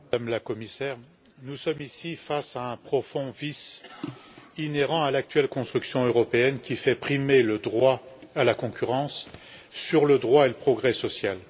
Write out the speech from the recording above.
Monsieur le Président, Madame la Commissaire, nous sommes ici face à un profond vice inhérent à l'actuelle construction européenne qui fait primer le droit à la concurrence sur le droit et le progrès social.